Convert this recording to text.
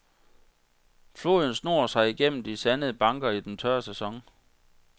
Floden snor sig igennem de sandede banker i den tørre sæson.